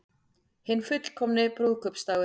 Hinn fullkomni brúðkaupsdagur